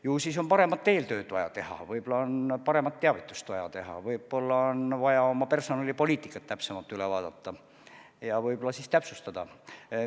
Ju siis on paremat eeltööd vaja teha, võib-olla on paremat teavitust vaja teha, võib-olla on vaja oma personalipoliitika üle vaadata ja seda täpsustada.